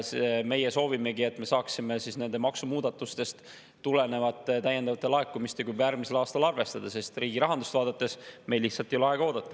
Meie soovimegi, et me saaksime nende maksumuudatustest tulenevate täiendavate laekumistega juba järgmisel aastal arvestada, sest riigi rahandust vaadates meil lihtsalt ei ole aega oodata.